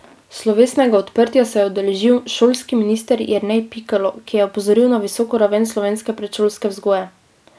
Slovesnega odprtja se je udeležil šolski minister Jernej Pikalo, ki je opozoril na visoko raven slovenske predšolske vzgoje.